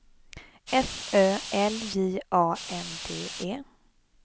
F Ö L J A N D E